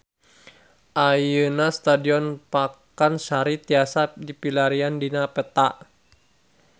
Ayeuna Stadion Pakansari tiasa dipilarian dina peta